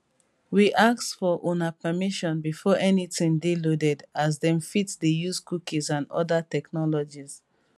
we ask for una permission before anytin dey loaded as dem fit dey use cookies and oda technologies